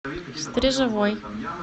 стрежевой